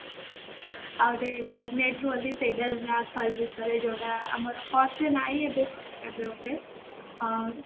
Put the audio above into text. ଆଉ ସେଇଟା black hall ବିଷୟରେ ଯୋଉଟା ଏବେ ବୋଧେ ହଁ